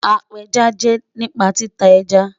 Apéjá jẹ́ nípa títa ẹ́já.